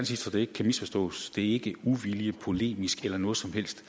sige så det ikke kan misforstås det er ikke uvilje eller polemik eller noget som helst